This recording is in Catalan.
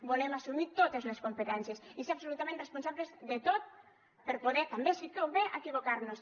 volem assumir totes les competències i ser absolutament responsables de tot per poder també si convé equivocar nos